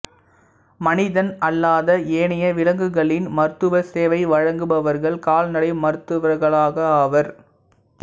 மனிதன் அல்லாத ஏனைய விலங்குகளின் மருத்துவ சேவை வழங்குபவர்கள் கால்நடை மருத்துவர்களாவர்